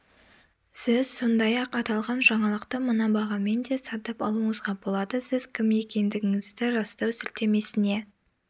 сіз сондай-ақ аталған жаңалықты мына бағамен де сатып алуыңызға болады сіз кім екендігіңізді растау сілтемесіне